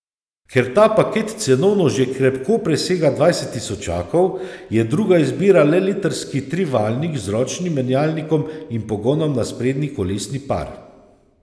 Ker ta paket cenovno že krepko presega dvajset tisočakov, je druga izbira le litrski trivaljnik z ročnim menjalnikom in pogonom na sprednji kolesni par.